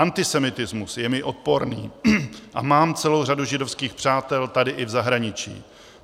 Antisemitismus je mi odporný a mám celou řadu židovských přátel tady i v zahraničí.